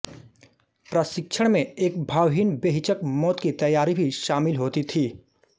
प्रशिक्षण में एक भावहीन बेहिचक मौत की तैयारी भी शामिल होती थी